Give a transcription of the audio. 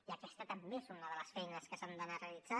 i aquesta també és una de les feines que s’han d’anar realitzant